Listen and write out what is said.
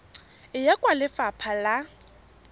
e ya kwa lefapha la